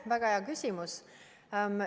Väga hea küsimus!